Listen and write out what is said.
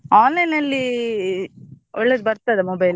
Online ಅಲ್ಲಿ ಒಳ್ಳೇದ್ ಬರ್ತದಾ mobile ?